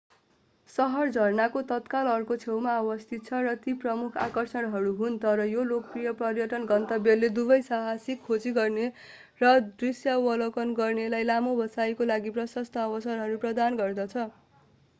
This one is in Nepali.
शहर झरनाको तत्काल अर्को छेउमा अवस्थित छ र ती प्रमुख आकर्षणहरू हुन् तर यो लोकप्रिय पर्यटन गन्तव्यले दुवै साहसिक खोजी गर्ने र दृश्यावलोकन गर्नेहरूलाई लामो बसाइका लागि प्रशस्त अवसरहरू प्रदान गर्दछ